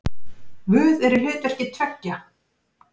Guð er í hlutverki tveggja.